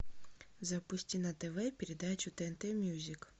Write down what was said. запусти на тв передачу тнт мьюзик